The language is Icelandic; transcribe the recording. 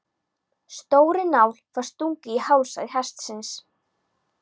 Stórri nál var stungið í hálsæð hestsins.